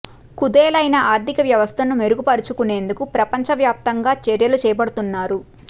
కుదేలైన ఆర్థిక వ్యవస్థను మెరుగుపరుచు కునేందుకు ప్రపంచ వ్యాప్తంగా చర్యలు చేపడుతున్నారు